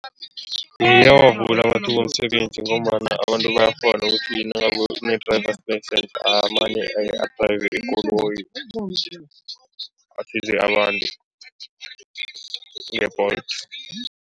Ayawavula amathuba womsebenzi ngombana abantu bayakghona ukuthi nakune driver's license, amane adrayive ikoloyi nge-Bolt.